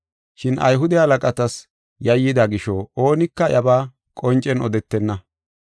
Shin Ayhude halaqatas yayyida gisho oonika iyabaa qoncen odetenna.